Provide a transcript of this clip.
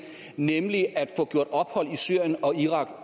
nemlig at få gjort ophold i syrien og irak